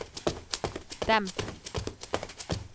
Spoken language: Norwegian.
demp